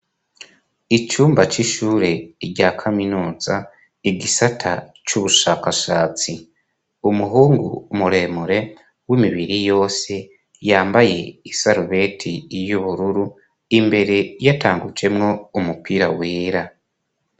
Icumba c'ishure rya kaminuza, igisata c'ubushakashatsi. Umuhungu muremure w'imibiri yose yambaye isarubeti y'ubururu, imbere yatangujemwo umupira wera.